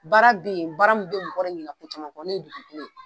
Baara be ye baara mun be mɔgɔ yɛrɛ ɲinɛ ko caman ni dusu kolo ye